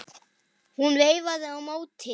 Hún veifaði á móti.